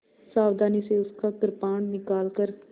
सावधानी से उसका कृपाण निकालकर